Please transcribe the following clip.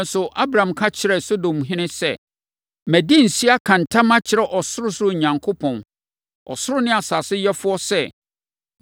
Nanso, Abram ka kyerɛɛ Sodomhene sɛ, “Madi nse aka ntam akyerɛ Ɔsorosoro Onyankopɔn, ɔsoro ne asase yɛfoɔ sɛ,